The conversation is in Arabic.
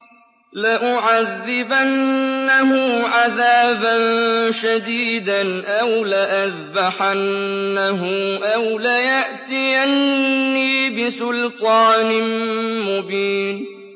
لَأُعَذِّبَنَّهُ عَذَابًا شَدِيدًا أَوْ لَأَذْبَحَنَّهُ أَوْ لَيَأْتِيَنِّي بِسُلْطَانٍ مُّبِينٍ